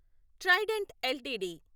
Trident LTD